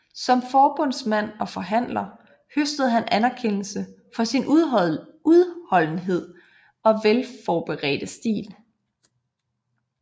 Som forbundsformand og forhandler høstede han anerkendelse for sin udholdenhed og velforberedte stil